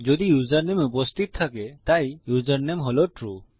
যদি ইউসারনেম উপস্থিত থাকে তাই ইউসারনেম হল ট্রু